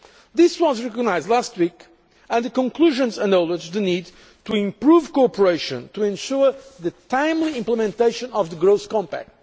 This was recognised last week, and the conclusions acknowledge the need to improve cooperation to ensure the timely implementation of the Growth Compact.